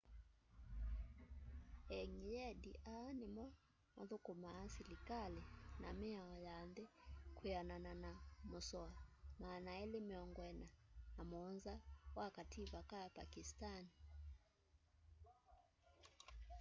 engyendi aa nimo mathukumaa silikali na miao ya nthi kwianana na musoa 247 wa kativa ka pakistani